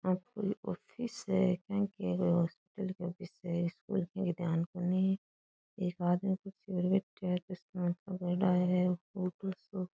ओ कोई ऑफिस है के की है कोई हॉस्पिटल की ऑफिस स्कूल की ध्यान कोनी एक आदमी कुर्सी पर बैठयो है ऑफिस में --